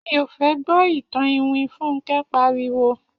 Mi ò fẹ́ gbọ́ ìtàn iwin!, Fúnkẹ́ pariwo